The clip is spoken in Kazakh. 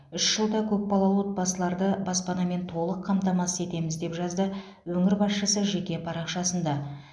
үш жылда көпбалалы отбасыларды баспанамен толық қамтамасыз етеміз деп жазды өңір басшысы жеке парақшасында